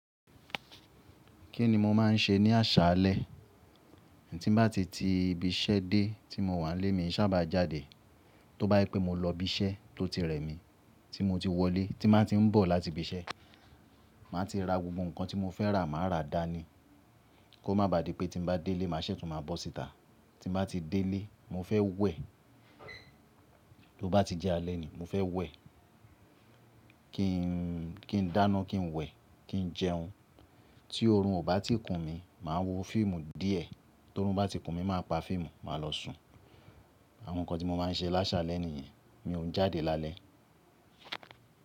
Kí ni mo máa ń ṣe ní àsálẹ́? Tí bá ti ti ibi iṣẹ́ dé tí mo wà lé mi sábà jáde. Tó bá je pé mo lọ ibi iṣẹ́ tó ti rẹ̀ mí tí mo ti wọlé tí máa ti ń bọ̀ láti ibi iṣẹ́. Màá ti ra gbogbo nǹkan tí mo fẹ́ rà, màá rà dáa ni. Kó má baà dípé tí bá dé lé máa ṣẹ́tún mà bọ̀sítà. Tí bá ti dé lé, mo fẹ́ wẹ̀. Tó bá ti jẹ́ alẹ́ ni mo fẹ́ wẹ̀. Kí n dáná kí n wẹ̀ kí n jẹun. Tí oorun ò bá ti kún mí, màá wo fíìmù díẹ̀. Tí oorun bá ti kún mí, màá pa fíìmù, màá lọ sùn. Àwọn nǹkan tí mo máa ń ṣe lásálẹ́ nìyẹn. Mi ò jáde lálẹ́.